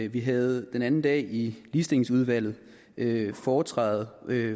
vi havde den anden dag i ligestillingsudvalget foretræde